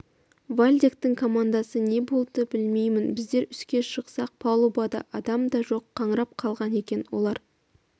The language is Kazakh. вальдектің командасы не болды білмеймін біздер үске шықсақ палубада адам да жоқ қаңырап қалған екен олар